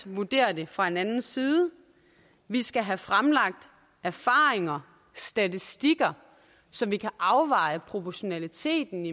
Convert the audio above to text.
vurdere det fra en anden side vi skal have fremlagt erfaringer statistikker så vi kan afveje proportionaliteten